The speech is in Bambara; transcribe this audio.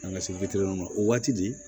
An ka se ma o waati de